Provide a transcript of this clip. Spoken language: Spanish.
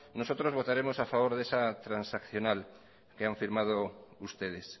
nosotros votaremos a favor de esa transaccional que han firmado ustedes